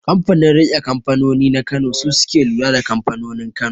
Kanfanin riƙe kanfanoni na kano su suke lura da kamfanonin Kano